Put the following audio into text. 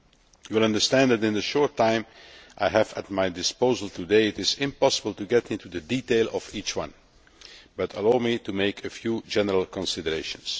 You will understand that, in the short time I have at my disposal today, it is impossible to go into the details of each one. But allow me to make a few general considerations.